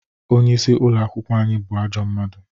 Onye isi ụlọ akwụkwọ anyị bụ ajọ mmadụ